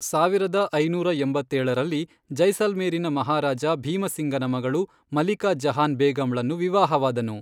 ಸಾವಿರದ ಐನೂರ ಎಂಬತ್ತೇಳರಲ್ಲಿ, ಜೈಸಲ್ಮೇರಿನ ಮಹಾರಾಜ ಭೀಮ ಸಿಂಗನ ಮಗಳು ಮಲಿಕಾ ಜಹಾನ್ ಬೇಗಂಳನ್ನು ವಿವಾಹವಾದನು.